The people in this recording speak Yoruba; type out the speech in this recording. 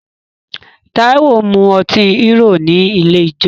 Táíwò mu ọtí Hero ní ilé ijó